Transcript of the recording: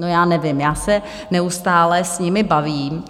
No, já nevím, já se neustále s nimi bavím